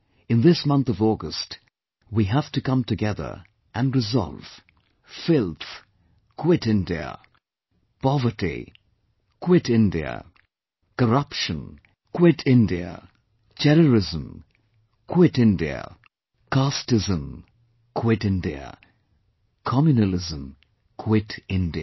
In this month of August, we have to come together and resolve Filth Quit India; Poverty Quit India; Corruption Quit India; Terrorism Quit India; Casteism Quit India; Communalism Quit India